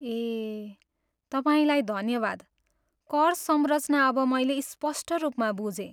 ए, तपाईँलाई धन्यवाद, कर संरचना अब मैले स्पष्ट रूपमा बुझेँ।